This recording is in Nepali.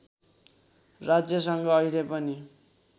राज्यसँग अहिले पनि